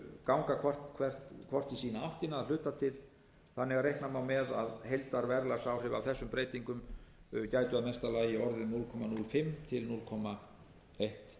ganga hvort í sína áttina að hluta til þannig að reikna má með að heildarverðlagsáhrif af þessum breytingum gætu í mesta lagi orðið núll komma núll fimm til núll komma eitt